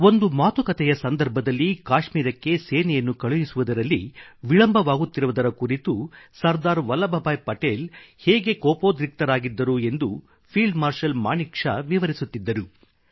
ಒಂದು ಮಾತುಕತೆಯ ಸಂದರ್ಭದಲ್ಲಿ ಕಾಶ್ಮೀರಕ್ಕೆ ಸೇನೆಯನ್ನು ಕಳುಹಿಸುವುದರಲ್ಲಿ ವಿಳಂಬವಾಗುತ್ತಿರುವುದರ ಕುರಿತು ಸರ್ದಾರ್ ವಲ್ಲಭ್ ಭಾಯಿ ಪಟೇಲ್ ಹೇಗೆ ಕೋಪೋದ್ರಿಕ್ತರಾಗಿದ್ದರು ಎಂದು ಫೀಲ್ಡ್ ಮಾರ್ಷಲ್ ಮಾನಿಕ್ ಶಾ ವಿವರಿಸುತ್ತಿದ್ದರು